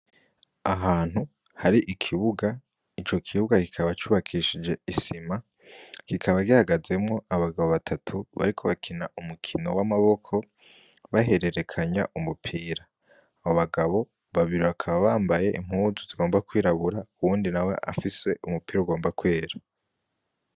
Ahantu hari ikibuga icokibuga kikaba cubakishije isima kikaba gihagazemwo abagabo batatu bariko bakina umukino w'amaboko bahererekanya umupira abobagabo babiri bakaba bambaye impuzu zigomba kwirabura uwundi nawe afise umupira ugomba kwera.